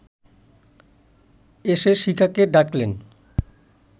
এসে শিখাকে ডাকলেন